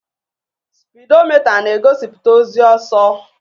Spidomita na-egosiputa ozi ọsọ.